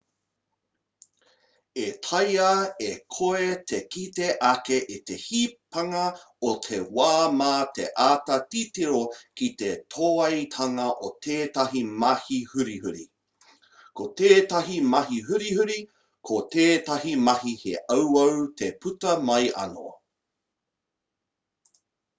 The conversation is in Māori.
e taea e koe te kite ake i te hipanga o te wā mā te āta titiro ki te tōaitanga o tetahi mahi hurihuri ko tētahi mahi hurihuri ko tētahi mahi he auau te puta mai anō